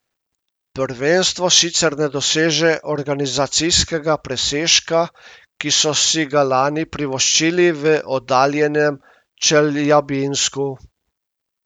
Prvenstvo sicer ne doseže organizacijskega presežka, ki so si ga lani privoščili v oddaljenem Čeljabinsku.